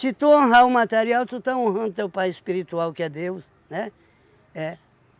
tu honrar o material, tu está honrando teu pai espiritual, que é Deus, né? É.